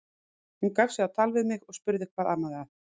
Hún gaf sig á tal við mig og spurði hvað amaði að.